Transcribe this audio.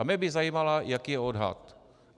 A mě by zajímalo, jaký je odhad.